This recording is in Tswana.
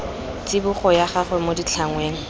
tsibogo ya gagwe mo ditlhangweng